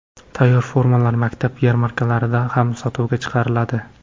Tayyor formalar maktab yarmarkalarida ham sotuvga chiqariladi.